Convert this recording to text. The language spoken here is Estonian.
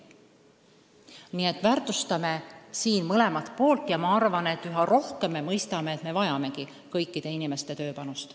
Nii et me väärtustame mõlemat poolt ja ma arvan, et üha rohkem me mõistame, et me vajame kõikide inimeste tööpanust.